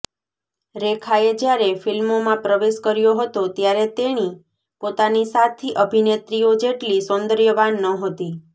રેખાએ જ્યારે ફિલ્મોમાં પ્રવેશ કર્યો હતો ત્યારે તેણી પોતાની સાથી અભિનેત્રીઓ જેટલી સૌંદર્યવાન નહોતી